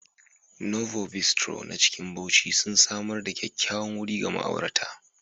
Novo Bistro na cikin Bauchi, sun samar da kyakkyawan wuri ga ma'aurata.